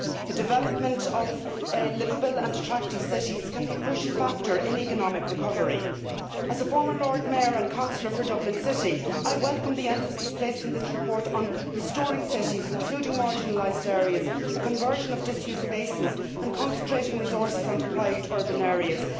The development of liveable and attractive cities can be a crucial factor in economic recovery. As a former Lord Mayor and councillor for Dublin City, I welcome the emphasis placed in this report on restoring cities including marginalised areas the conversion of disused spaces and concentrating resources on deprived urban areas.